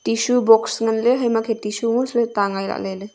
Tissue box ngan le hama khe tissue mua sele ta ngai lah lele.